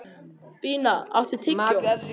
Bína, áttu tyggjó?